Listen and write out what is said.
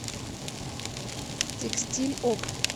текстиль опт